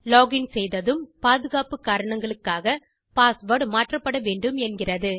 login செய்ததும் பாதுகாப்பு காரணங்களுக்காக பாஸ்வேர்ட் மாற்றப்படவேண்டும் என்கிறது